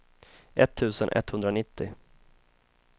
etttusen etthundranittio